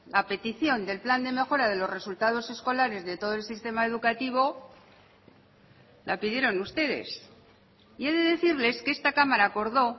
a petición del plan de mejora de los resultados escolares de todo el sistema educativo la pidieron ustedes y he de decirles que esta cámara acordó